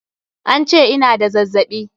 An ce ina da zazzaɓi.